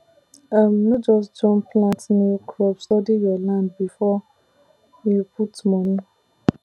um no just jump plant new crop study your land before you put money